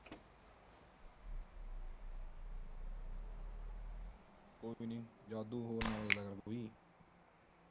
ਕੋਈ ਨੀ ਜਾਦੂ ਹੋਰ ਗੱਲ ਕੋਈ।